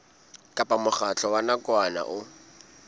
kapa mokgatlo wa nakwana o